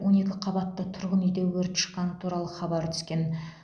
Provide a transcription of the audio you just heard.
он екі қабатты тұрғын үйде өрт шыққаны туралы хабар түскен